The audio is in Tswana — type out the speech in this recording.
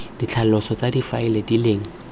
ditlhaloso tsa difaele di leng